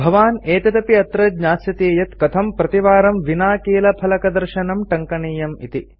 भवान् एतदपि अत्र ज्ञास्यति यत् कथं प्रतिवारं विना कीलफलकदर्शनं टङ्कनीयम् इति